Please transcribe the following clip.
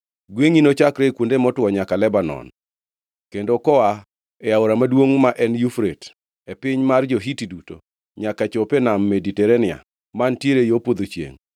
Gwengʼi nochakre e kuonde motwo nyaka Lebanon, kendo koa e aora maduongʼ, ma en Yufrate; piny mar jo-Hiti duto; nyaka chop e Nam Mediterania mantiere yo podho chiengʼ.